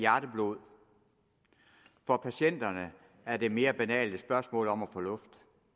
hjerteblod for patienterne er det mere banalt et spørgsmål om at få luft